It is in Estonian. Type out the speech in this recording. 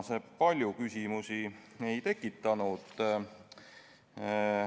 See palju küsimusi ei tekitanud.